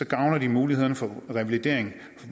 gavner muligheden for revalidering